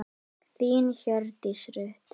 Þín, Hjördís Rut.